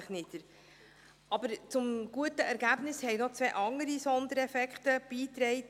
Aber zum guten Ergebnis trugen noch zwei andere Sondereffekte bei.